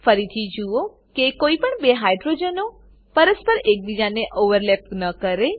ફરીથી જુઓ કે કોઈપણ બે હાઇડ્રોજનો પરસ્પર એકબીજાને ઓવરલેપ ન કરે